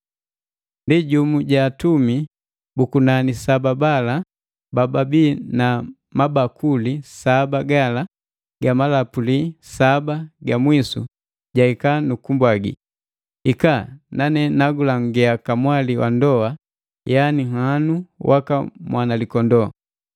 Ndi jumu ja atumi bu kunani saba bala ba babii na mabakuli saba gala ga malapuli saba gamwisu jaika nu kumbwangi, “Hika, nanee nagulangia kamwali wa ndoa, yani nhanu waka Mwanalikondoo”